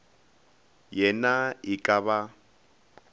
ye na e ka ba